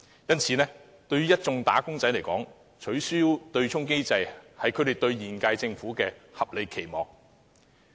因此，對一眾"打工仔"來說，取消對沖機制是他們對現屆政府的合理期望。